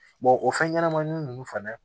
o fɛn ɲɛnamanin ninnu fana